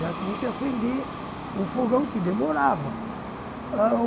já tinha que acender o fogão, que demorava.